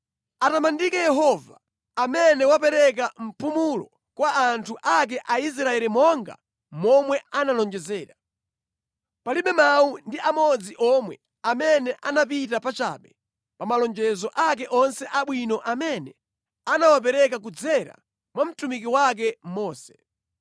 “Atamandike Yehova, amene wapereka mpumulo kwa anthu ake Aisraeli monga momwe analonjezera. Palibe mawu ndi amodzi omwe amene anapita pachabe pa malonjezo ake onse abwino amene anawapereka kudzera mwa mtumiki wake Mose.